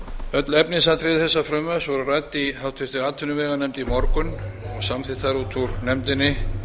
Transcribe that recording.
öll efnisatriði þessa frumvarps voru rædd í háttvirtri atvinnuveganefnd í morgun og samþykkt þar út úr nefndinni